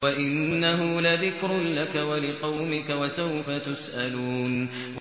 وَإِنَّهُ لَذِكْرٌ لَّكَ وَلِقَوْمِكَ ۖ وَسَوْفَ تُسْأَلُونَ